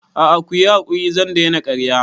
A'a kuyi hakuri zan daina karya